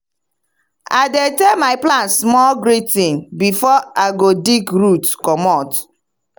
i dey tell my plant small greeting before i go dig root commot.